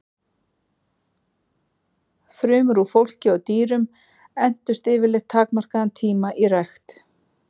Frumur úr fólki og dýrum entust yfirleitt takmarkaðan tíma í rækt.